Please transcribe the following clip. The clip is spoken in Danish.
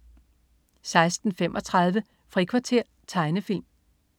16.35 Frikvarter. Tegnefilm